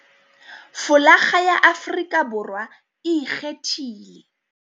Folakga ya Afrika Borwa e ikgethile.